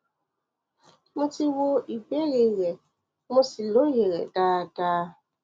mo ti wo ìbéèrè rẹ mo sì lóye rẹ dáadáa